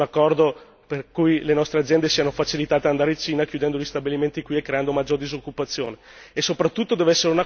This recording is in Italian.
Non vorrei che magari fosse un accordo per cui le nostre aziende siano facilitate ad andare in Cina, chiudendo gli stabilimenti qui e creando maggior disoccupazione!